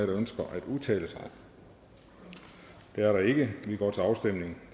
der ønsker at udtale sig det er der ikke så vi går til afstemning